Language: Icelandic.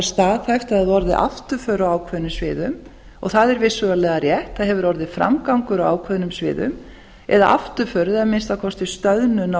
er staðhæft að það hafi orðið afturför á ákveðnum sviðum og það er vissulega rétt það hefur orðið framgangur á ákveðnum sviðum en afturför eða að minnsta kosti stöðnun á